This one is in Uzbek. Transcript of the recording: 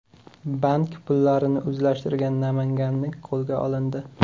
Bank pullarini o‘zlashtirgan namanganlik qo‘lga olindi.